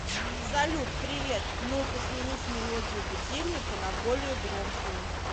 салют привет нужно сменить мелодию будильника на более громкую